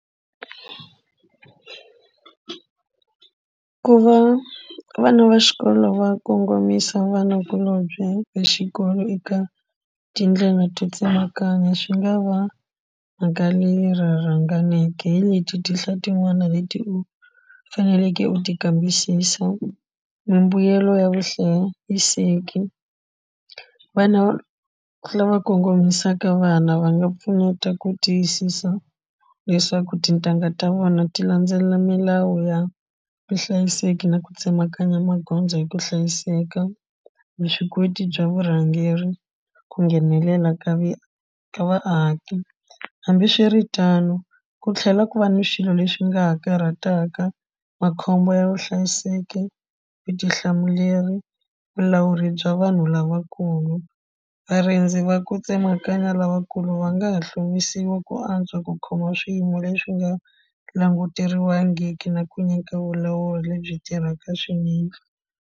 Ku va vana va xikolo va kongomisa vanakulombye exikolo eka tindlela to tsemakanya swi nga va mhaka leri ra rhanganeke hi leti tinhla tin'wana leti faneleke u ti kambisisa mimbuyelo ya vuhlayiseki vana lava kongomisaka vana va nga pfuneta ku tiyisisa leswaku tintangha ta vona ti landzelela milawu ya vuhlayiseki na ku tsemakanya magondzo hi ku hlayiseka vuswikoti bya vurhangeri ku nghenelela ka va ka vaaki hambiswiritano ku tlhela ku va ni swilo leswi nga ha karhataka makhombo ya vuhlayiseki vutihlamuleri vulawuri bya vanhu lavakulu varindzi va ku tsemakanya lavakulu va nga ha hluvisiwa ku antswa ku khoma swiyimo leswi nga languteriwangiki na ku nyika vulawuri lebyi tirhaka swinene.